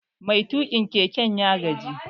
Mai tuƙin keken ya gaji